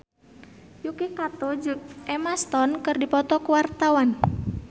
Yuki Kato jeung Emma Stone keur dipoto ku wartawan